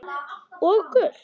Og gult?